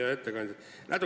Hea ettekandja!